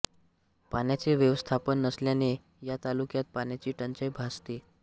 पाण्याचे व्यवस्थापन नसल्याने या तालुक्यात पाण्याची टंचाई भासते